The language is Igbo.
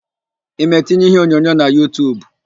Ị ma etinye iheonyonyo na Yutub?